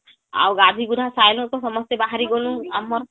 ଆଉ ଗାଧେଇ ଗୁଧାଁ ସାରିଲୁ ତ ସମସ୍ତେ ବାହାରି ଗ୍ନୁ ଆମର